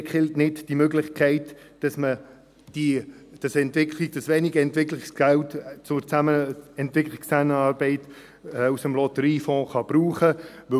Bitte killen Sie die Möglichkeit nicht, dass man dieses wenige Entwicklungsgeld zur Entwicklungszusammenarbeit aus dem Lotteriefonds benutzen kann.